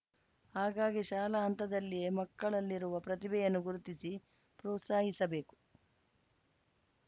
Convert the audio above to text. ಹಾಗಾಗಿ ಶಾಲಾ ಹಂತದಲ್ಲಿಯೇ ಮಕ್ಕಳಲ್ಲಿರುವ ಪ್ರತಿಭೆಯನ್ನು ಗುರುತಿಸಿ ಪ್ರೋತ್ಸಾಹಿಸಬೇಕು